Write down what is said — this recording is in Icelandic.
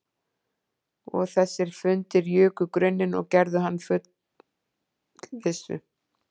Og þessir fundir juku gruninn og gerðu hann að fullvissu